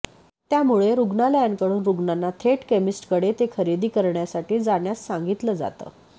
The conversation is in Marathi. त्यामुळे रुग्णालयांकडून रूग्णांना थेट केमिस्टकडे ते खरेदी करण्यासाठी जाण्यास सांगितलं जातं